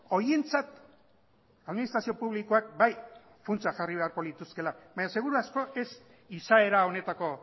horientzat administrazio publikoak bai funtsa jarri beharko lituzkeela baina seguraski ez izaera honetako